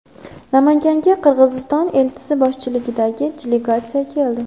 Namanganga Qirg‘iziston elchisi boshchiligidagi delegatsiya keldi.